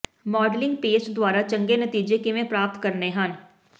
modelling paste ਦੁਆਰਾ ਚੰਗੇ ਨਤੀਜੇ ਕਿਵੇਂ ਪ੍ਰਾਪਤ ਕਰਨੇ ਹਨ